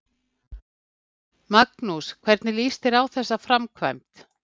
Magnús: Hvernig líst þér á þessa framkvæmd?